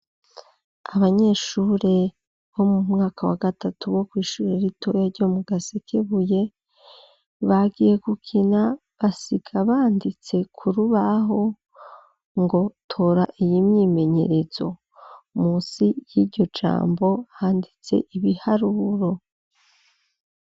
Abanyeshure bo mu mwaka wa gatatu bo kw'ishure ritoya ryo mu Gasekebuye, bagiye gukina basiga banditse ku rubaho ngo: "tora iyi mwimenyerezo", musi y'iryo jambo handitse ibiharuro.